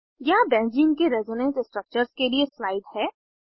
यहाँ बेंज़ीन के resonance structures के लिए स्लाइड है